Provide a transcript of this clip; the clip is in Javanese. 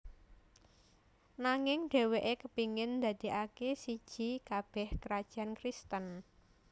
Nanging dheweke kepingin ndadekake siji kabeh krajan Kristen